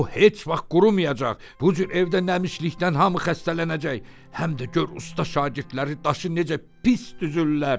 O heç vaxt qurumayacaq, bu cür evdə nəmişlikdən hamı xəstələnəcək, həm də gör usta şagirdləri daşı necə pis düzürlər.